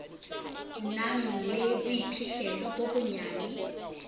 nang le boiphihlelo bo bonyane